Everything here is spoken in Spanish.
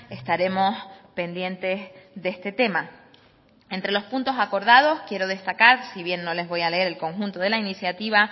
estaremos pendientes de este tema entre los puntos acordados quiero destacar si bien no les voy a leer el conjunto de la incitativa